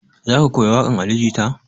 Za ka koya waƙan ali jita?